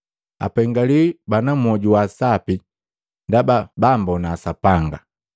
Apengiwi bana mwoju wa sapi, ndaba bammbona Sapanga.